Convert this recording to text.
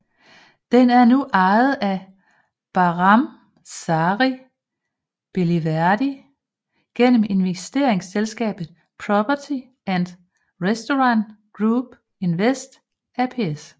Den er nu ejet af Bahram Sari Beliverdi gennem investeringsselskabet Property And Restaurant Group Invest ApS